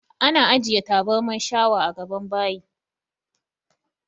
Ana ajiye taburman shawa a gaban bayi